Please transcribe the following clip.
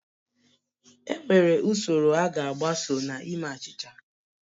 Enwere usoro a ga-agbaso na ime achịcha